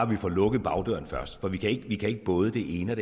vi får lukket bagdøren først for vi kan ikke både det ene